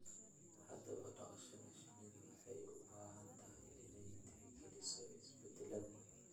Haddaba, dhaqashada shinnidu waxay u baahan tahay inay tixgeliso isbeddellada